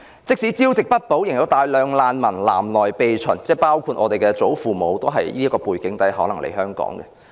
即使朝不保夕，仍有大量難民南來避秦，當中包括我們的祖父母，他們可能也是在這樣的背景下來港。